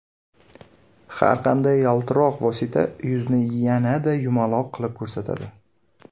Har qanday yaltiroq vosita yuzni yanada yumaloq qilib ko‘rsatadi.